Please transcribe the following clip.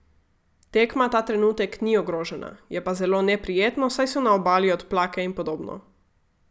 Tekma ta trenutek ni ogrožena, je pa zelo neprijetno, saj so na obali odplake in podobno.